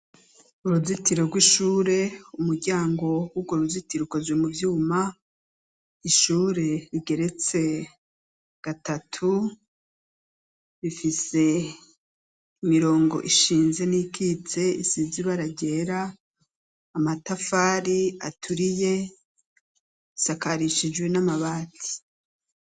Uruzitiro rw'ishure, umuryango w'urwo ruzitiro ukozwe mu vyuma, ishure rigeretse gatatu, rifise imirongo ishinze n'iyikitse isize ibara ryera, amatafari aturiye, risakarishijwe n'amabati.